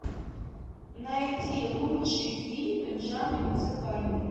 найди лучшие фильмы в жанре музыкальный